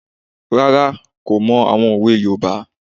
Rárá, kò mọ àwọn òwe yoòbá